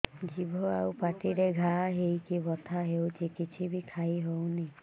ଜିଭ ଆଉ ପାଟିରେ ଘା ହେଇକି ବଥା ହେଉଛି କିଛି ବି ଖାଇହଉନି